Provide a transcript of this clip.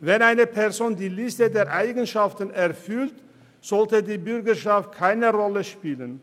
Wenn eine Person die Liste der Eigenschaften erfüllt, sollte die Bürgerschaft keine Rolle spielen.